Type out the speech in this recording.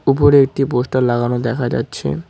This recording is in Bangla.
উপরে একটি পোস্টার লাগানো দেখা যাচ্ছে।